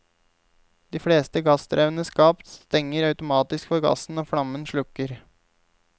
De fleste gassdrevne skap stenger automatisk for gassen når flammen slukker.